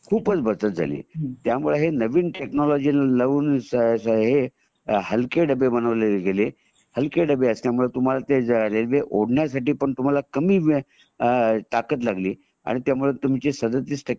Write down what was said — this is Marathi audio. ह्याचा मध्ये खूपच बचत झाली त्यामुळे नवीन टेक्नॉलजी लाऊन हे हे हलके डब्बे बनवले गेले हलके डब्बे असल्यामुळे तुम्हाला ते रेल्वे ओढण्यासाठी पण तुम्हाला कामी ताकद लागली त्यामुळे तुमच्या सदतीस टक्के